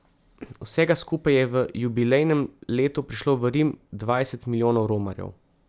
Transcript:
Vsega skupaj je v jubilejnem letu prišlo v Rim dvajset milijonov romarjev.